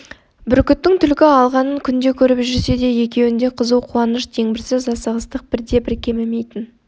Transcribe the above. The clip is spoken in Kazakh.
бүркіттің түлкі алғанын күнде көріп жүрсе де екеуінде қызу қуаныш дегбірсіз асығыстық бірде-бір кемімейтін